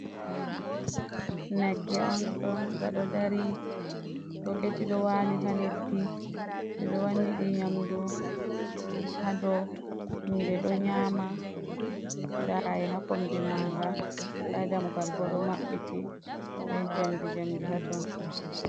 Nagge on ɗo nga ɗo dari, boketi ɗo wali ha leddi, ɓe ɗo wani ɗi nyamdu ha ɗo, ɗe ɗo nyama, nda kai ha kombi manga, nda damugal bo ɗo maɓɓiti be jamdi jamdi ha ton.